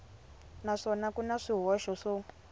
naswona ku na swihoxo swo